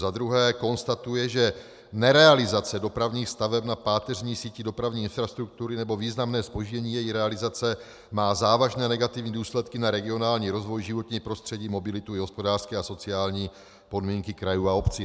Za druhé konstatuje, že nerealizace dopravních staveb na páteřní síti dopravní infrastruktury nebo významné zpoždění její realizace má závažné negativní důsledky na regionální rozvoj, životní prostředí, mobilitu i hospodářské a sociální podmínky krajů a obcí.